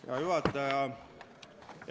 Hea juhataja!